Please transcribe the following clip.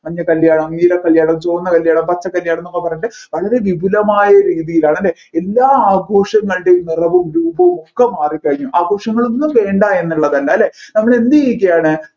മഞ്ഞ കല്യാണം നീല കല്യാണം ചുവന്ന കല്യാണം പച്ച കല്യാണം എന്നൊക്കെ പറഞ്ഞിട്ട് വളരെ വിപുലമായ രീതിയിലാണല്ലേ എല്ലാ ആഘോഷങ്ങളുടെയും നിറവും രൂപവും ഒക്കെ മാറിക്കഴിഞ്ഞു ആഘോഷങ്ങളൊന്നും വേണ്ട എന്നല്ല നമ്മൾ എന്ത് ചെയ്യുകയാണ്